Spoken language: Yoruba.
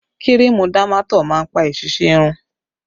Kírìmù Dámátọ̀ máa ń pa èsísí irun